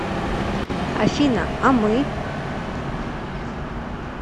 афина а мы